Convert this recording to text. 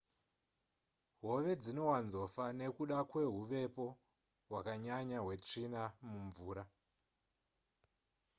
hove dzinowanzofa nekuda kwehuvepo hwakanyanya hwetsvina mumvura